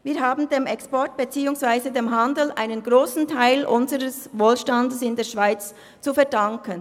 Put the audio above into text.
Wir haben dem Export beziehungsweise dem Handel einen grossen Teil unseres Wohlstands in der Schweiz zu verdanken.